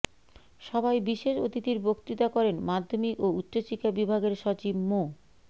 সভায় বিশেষ অতিথির বক্তৃতা করেন মাধ্যমিক ও উচ্চশিক্ষা বিভাগের সচিব মো